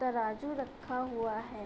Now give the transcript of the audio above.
तराजू रखा हुआ है |